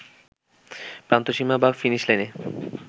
প্রান্ত সীমা বা ফিনিশ লাইনে